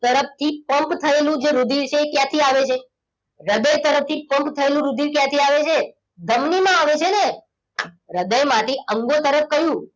તરફથી pump થયેલું રુધિર છે એ ક્યાંથી આવે છે? તરફથી pump થયેલું રુધિર છે એ ક્યાંથી આવે છે? ધમની માં આવે છે ને! હૃદયમાંથી અંગો તરફ કયું?